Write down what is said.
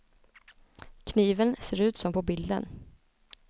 Kniven ser ut som på bilden.